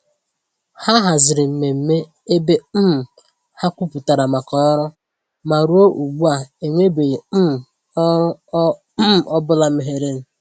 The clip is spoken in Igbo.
Ha haziri mmemme ebe um ha kwupụtara màkà ọrụ, ma ruo ugbu a, enwebeghị um ọrụ ọ um bụla meghere.